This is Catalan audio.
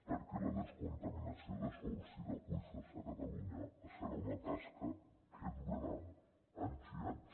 perquè la descontaminació de sòls i d’aqüífers a catalunya serà una tasca que durarà anys i anys